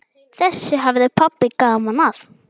Þessu hafði pabbi gaman af.